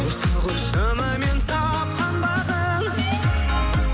осы ғой шынымен тапқан бағым